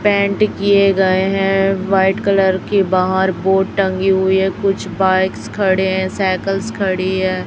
Paint किए गए हैं व्हाइट कलर की बाहर बोर्ड टंगी हुई है कुछ बाइक्स खड़े हैं सायकल्स खड़ी है।